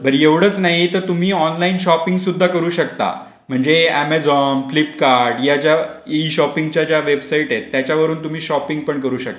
एवढेच नाही तर तुम्ही ऑनलाइन शॉपिंग सुद्धा करू शकता. म्हणजे अमेझॉन फ्लिपकार्ट याच्या ई शॉपिंगच्या वेबसाईट आहेत त्याच्यावरून तुम्ही शॉपिंग पण करू शकता.